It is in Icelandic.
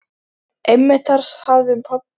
Einmitt þar hafði pabbi fundið rétta stólinn.